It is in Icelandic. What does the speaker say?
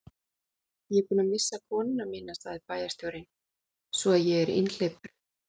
Ég er búinn að missa konuna mína sagði bæjarstjórinn, svo að ég er einhleypur.